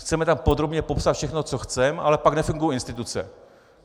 Chceme tam podrobně popsat všechno, co chceme, ale pak nefungují instituce.